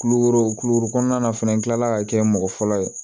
Kulukoro kulukoro kɔnɔna fɛnɛ n kilala ka kɛ mɔgɔ fɔlɔ ye